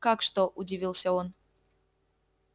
как что удивился он